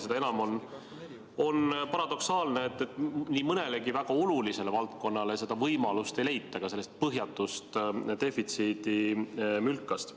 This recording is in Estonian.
Seda enam on paradoksaalne, et nii mõnelegi väga olulisele valdkonnale ei leita seda võimalust ka sellest põhjatust defitsiidimülkast.